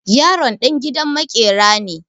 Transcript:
Yaron ɗan gidan maƙera ne.